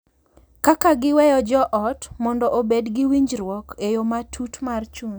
Kaka giweyo jo ot mondo obed gi winjruok e yo matut mar chuny,